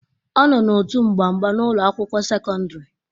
Ọ nọ n'òtù mgba mgba na ụlọ akwụkwọ sekọndrị